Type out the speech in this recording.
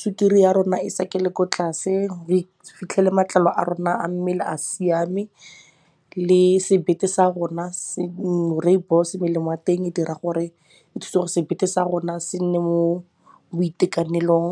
sukiri ya rona e sakele ko tlase, re fitlhele matlalo a rona a mmele a siame. Rooibos melemo ya teng e dira gore e thuse gore sebete sa rona se nne mo boitekanelong.